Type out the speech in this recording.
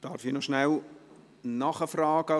Darf ich kurz nachfragen?